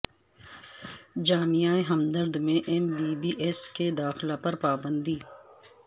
جامعہ ہمدرد میں M B B S کے داخلہ پر پابندی